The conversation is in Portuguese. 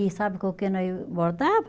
E sabe com o que nós bordava?